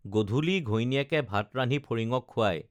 গধূলি ঘৈণীয়েকে ভাত ৰান্ধি ফৰিঙক খুৱাই